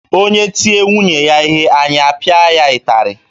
Onye tie nwunye ya ihe anyị apịa ya ịtarị